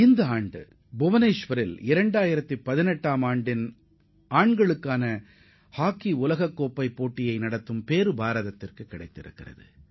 இந்த ஆண்டும் 2018 உலகக் கோப்பை ஆடவர் ஹாக்கிப் போட்டிகளை புவனேஷ்வரில் நடத்தும் வாய்ப்பு நமக்கு கிடைத்துள்ளது